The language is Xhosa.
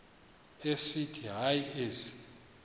esithi hayi ezi